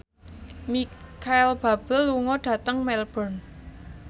Micheal Bubble lunga dhateng Melbourne